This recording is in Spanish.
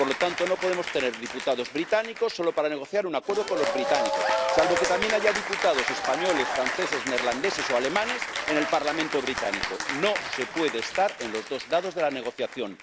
Por lo tanto, no podemos tener diputados británicos solo para negociar un acuerdo con los británicos, salvo que también haya diputados españoles, franceses, neerlandeses o alemanes en el Parlamento británico. No se puede estar en los dos lados de la negociación.